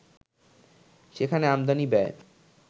সেখানে আমদানি ব্যয়